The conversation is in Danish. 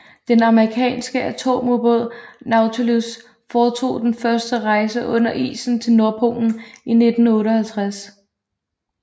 Den amerikanske atomubåd Nautilus foretog den første rejse under isen til Nordpolen i 1958